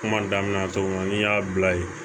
Kuma daminɛ na cogo min n'i y'a bila ye